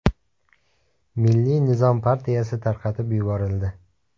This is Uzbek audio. Milliy nizom partiyasi tarqatib yuborildi.